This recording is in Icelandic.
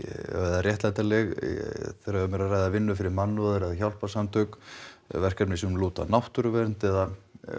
réttlætanleg þegar um er að ræða vinnu fyrir mannúðar eða hjálparsamtök verkefni sem lúta að náttúruvernd eða